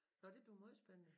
Nåh det bliver måj spændende